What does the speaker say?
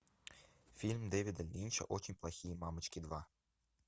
фильм дэвида линча очень плохие мамочки два